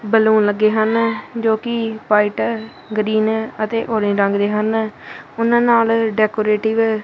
Balloon ਲੱਗੇ ਹਨ ਜੋਕਿ ਵ੍ਹਾਈਟ ਹੈ ਗ੍ਰੀਨ ਹੈ ਅਤੇ ਔਰੇਂਜ ਰੰਗ ਦੇ ਹਨ ਓਹਨਾ ਨਾਲ ਡੈਕੋਰੇਟਿੱਗ ।